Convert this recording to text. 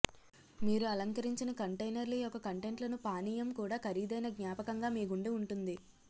మీరు అలంకరించిన కంటైనర్లు యొక్క కంటెంట్లను పానీయం కూడా ఖరీదైన జ్ఞాపకంగా మీ గుండె ఉంటుంది